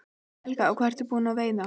Helga: Og hvað ert þú búin að veiða?